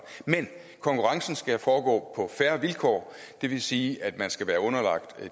men konkurrencen skal foregå på fair vilkår det vil sige at man skal være underlagt